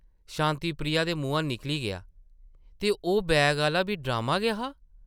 शांति प्रिया दे मुहां निकली गेआ, ‘‘ते ओह् बैगा आह्ला बी ड्रामा गै हा ?’’